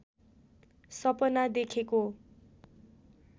सपना देखेको